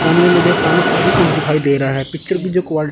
सामने मुझे अपनी सा भी कुछ दिखाई दे रहा है पिक्चर कि जो क्वाल--